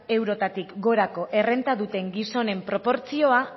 eurotatik gorako errenta duten gizonen proportzioa